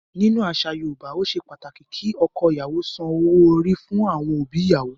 Nínú àṣà Yorùbá, ó ṣe pàtàkì kí ọkọ-ìyàwó san owó-orí fún àwọn òbí ìyàwó.